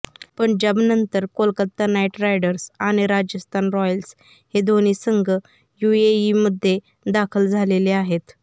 पंजाबनंतर Kolkata knight riders आणि Rajasthan royals हे दोन्ही संघ युएईमध्ये दाखल झालेले आहेत